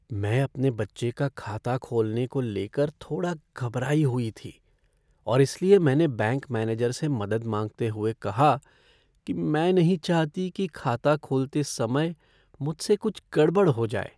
मैं अपने बच्चे का खाता खोलने को लेकर थोड़ा घबराई हुई थी और इसलिए मैंने बैंक मैनेजर से मदद माँगते हुए कहा कि मैं नहीं चाहती कि खाता खोलते समय मुझसे कुछ गड़बड़ हो जाए।